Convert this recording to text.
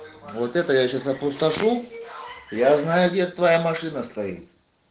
вот это я сейчас опустошу я знаю где твоя машина стоит